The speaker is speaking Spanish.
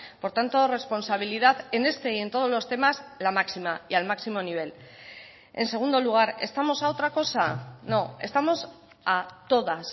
por tanto responsabilidad en este y en todos los temas la máxima y al máximo nivel en segundo lugar estamos a otra cosa no estamos a todas